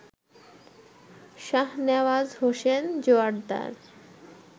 Shahnawaz Hossain Joardar